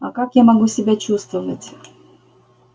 а как я могу себя чувствовать